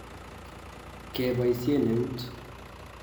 Kebosien eut.